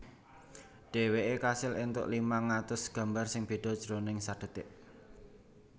Dhèwèké kasil éntuk limang atus gambar sing béda jroning sadhetik